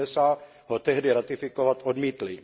USA ho tehdy ratifikovat odmítly.